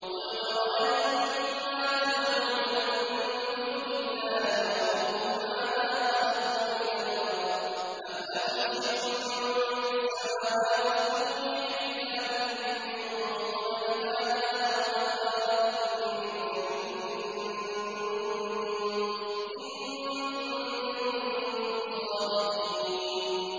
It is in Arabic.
قُلْ أَرَأَيْتُم مَّا تَدْعُونَ مِن دُونِ اللَّهِ أَرُونِي مَاذَا خَلَقُوا مِنَ الْأَرْضِ أَمْ لَهُمْ شِرْكٌ فِي السَّمَاوَاتِ ۖ ائْتُونِي بِكِتَابٍ مِّن قَبْلِ هَٰذَا أَوْ أَثَارَةٍ مِّنْ عِلْمٍ إِن كُنتُمْ صَادِقِينَ